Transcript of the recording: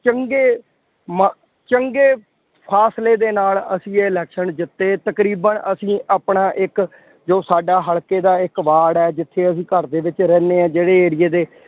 ਚੰਗੇ ਮ ਚੰਗੇ ਫਾਸਲੇ ਦੇ ਨਾਲ ਅਸੀਂ ਇਹ election ਜਿੱਤੇ। ਤਕਰੀਬਨ ਅਸੀਂ ਆਪਣਾ ਇੱਕ ਜੋ ਸਾਡਾ ਹਲਕੇ ਦਾ ਇੱਕ ਵਾਰਡ ਹੈ ਜਿੱਥੇ ਅਸੀਂ ਘਰ ਦੇ ਵਿੱਚ ਰਹਿੰਦੇ ਹਾਂ। ਜਿਹੜੇ area ਦੇ